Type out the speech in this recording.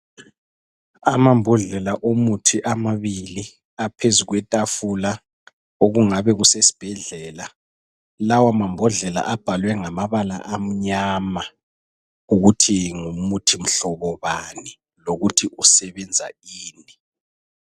Amambodlela omuthi amabili aphezu kwetafula okungabe kusesibhedlela. Lawo mambodlela abhaliwe ngamabala amnyama ukuthi ngumuthi mhlobo bani lokuthi usebenza ini.